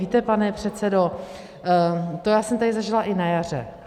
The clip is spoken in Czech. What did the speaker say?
Víte, pane předsedo, to já jsem tady zažila i na jaře.